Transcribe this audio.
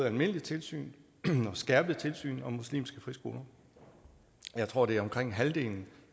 almindeligt tilsyn og skærpet tilsyn med muslimske friskoler jeg tror at omkring halvdelen